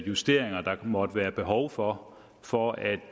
justeringer der måtte være behov for for at